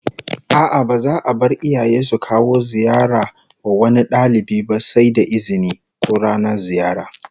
A'a, ba za'a bar iyaye su kawo ziyara wa wani dalibi ba sai da izini, ko ranar ziyara